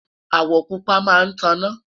awo pupa má tá na